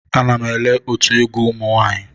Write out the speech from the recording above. Ana m ele otu egwu ụmụ nwanyị.